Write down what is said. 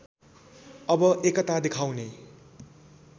अब एकता देखाउने